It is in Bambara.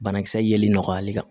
Banakisɛ yeli nɔgɔyali kan